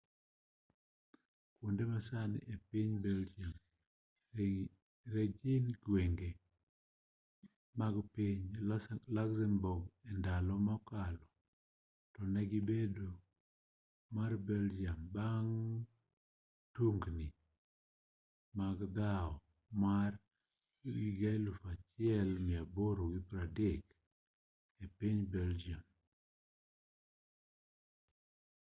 kuonde masani epiny belgium negin gwenge mag piny luxembourg endalo mokalo tonegi bedo mar belgium bang' tungni mag dhaw mar 1830 epiny belgium